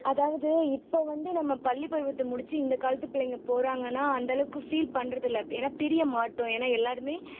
அதாவது இப்ப வந்து நம்ம பள்ளி பருவத்த முடிச்சு இந்த காலத்து பிள்ளைங்க போறாங்கன்னா அந்த அளவுக்கு feel பண்றது இல்லை ஏன்னா பிரிய மாட்டோம் ஏன்னா எல்லாருமே